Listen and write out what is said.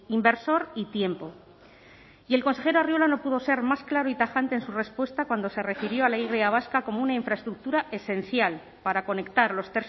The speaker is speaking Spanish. inversor y tiempo y el consejero arriola no pudo ser más claro y tajante en su respuesta cuando se refirió a la y vasca como una infraestructura esencial para conectar los